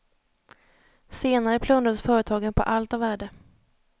Senare plundrades företagen på allt av värde.